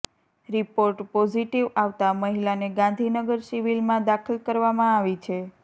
report positive આવતાં મહિલાને ગાંધીનગર સિવિલમાં દાખલ કરવામાં આવી છે